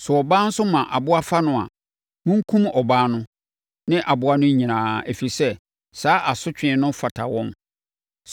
“ ‘Sɛ ɔbaa nso ma aboa fa no a, monkum ɔbaa no ne aboa no nyinaa, ɛfiri sɛ, saa asotwe no fata wɔn.